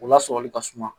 O lasɔli ka suma